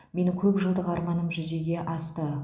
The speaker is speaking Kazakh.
менің көпжылдық арманым жүзеге асты